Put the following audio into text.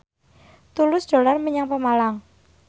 Tulus dolan menyang Pemalang